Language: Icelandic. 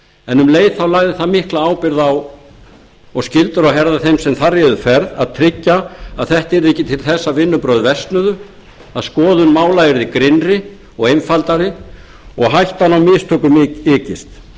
en um leið lagði það mikla ábyrgð og skyldur á herðar þeim sem þar réðu ferð til að tryggja að þetta yrði ekki til þess að vinnubrögð versnuðu að skoðun mála yrði grynnri og einfaldari og hættan á mistökum ykist